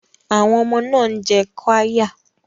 Àwọn ọmọ náà ń jẹ qirya